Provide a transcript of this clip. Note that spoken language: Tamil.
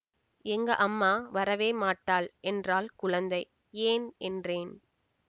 எங்க அம்மா வரவே மாட்டாள் என்றாள் குழந்தை ஏன் என்றேன்